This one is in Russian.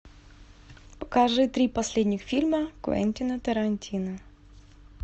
покажи три последних фильма квентина тарантино